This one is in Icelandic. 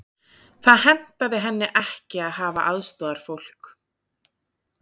Það hentaði henni ekki að hafa aðstoðarfólk.